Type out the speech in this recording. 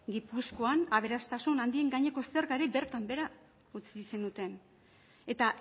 gipuzkoan aberastasun handien gaineko zergari bertan behera utzi zenuten eta